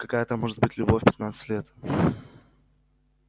какая там может быть любовь в пятнадцать лет